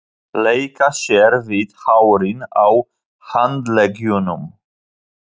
Leika sér við hárin á handleggjunum.